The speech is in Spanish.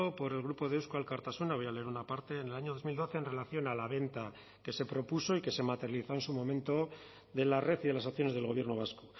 por el grupo de eusko alkartasuna voy a leer una parte en el año dos mil doce en relación a la venta que se propuso y que se materializó en su momento de la red y de las acciones del gobierno vasco